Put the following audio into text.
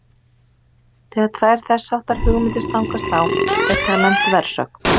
Þegar tvær þess háttar hugmyndir stangast á er talað um þversögn.